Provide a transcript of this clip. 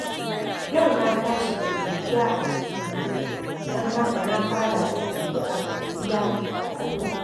Yau na tashi da godiya a jikina, don haka na fara da addu’ar godiya ga Allah.